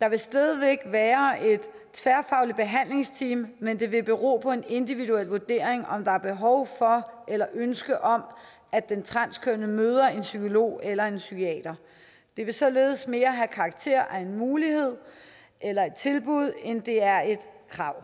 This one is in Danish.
der vil stadig væk være et tværfagligt behandlingsteam men det vil bero på en individuel vurdering om der er behov for eller ønske om at den transkønnede møder en psykolog eller en psykiater det vil således mere have karakter af en mulighed eller et tilbud end det er et krav